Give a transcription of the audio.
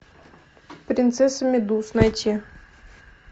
принцесса медуз найти